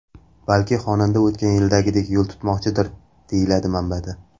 Balki xonanda o‘tgan yildagidek yo‘l tutmoqchidir, deyiladi manbada.